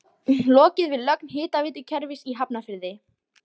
Lokið við lögn hitaveitukerfis í Hafnarfirði.